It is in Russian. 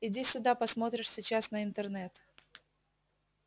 иди сюда посмотришь сейчас на интернет